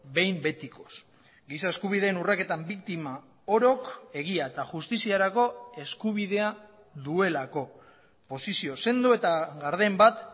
behin betikoz giza eskubideen urraketan biktima orok egia eta justiziarako eskubidea duelako posizio sendo eta garden bat